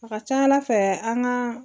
A ka ca ala fɛ an ka